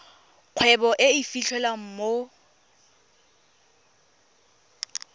kgwebo e e fitlhelwang mo